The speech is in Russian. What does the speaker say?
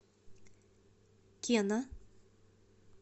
кена